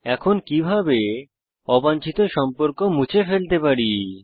এখন কিভাবে অবাঞ্ছিত সম্পর্ক মুছে ফেলতে পারি